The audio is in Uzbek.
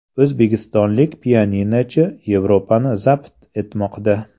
O‘zbekistonlik pianinochi Yevropani zabt etmoqda.